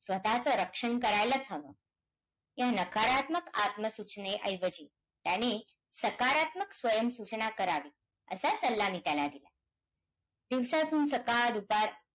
तो जगासाठी अन्नधान्य पिकवतो.